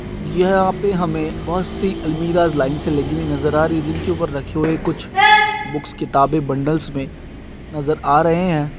यह यहा पे हमे बहुत सी अलमिराज लाइन से लगी हुई नजर आ रही हे जिन के ऊपर रखे हुवे कुछ बुक्स किताबे बन्डल्स मे नजर आरहे .